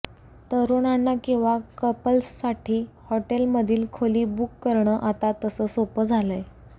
तरुणांना किंवा कपल्ससाठी हॉटेलमधील खोली बुक करणं आता तसं सोपं झालंय